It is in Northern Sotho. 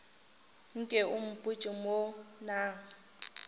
nke o mpotše mo na